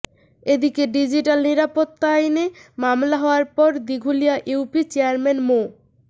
এদিকে ডিজিটাল নিরাপত্তা আইনে মামলা হওয়ার পর দিঘুলিয়া ইউপি চেয়ারম্যান মো